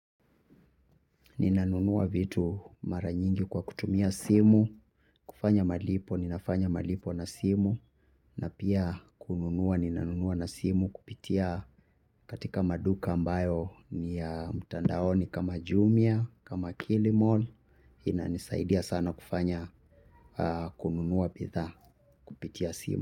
Ninanunua vitu mara nyingi kwa kutumia simu. Kufanya malipo, ninafanya malipo na simu. Na pia kununua, ninanunua na simu kupitia katika maduka ambayo ni ya mtandaoni kama jumia, kama kilimall. Inanisaidia sana kufanya kununua bidhaa kupitia simu.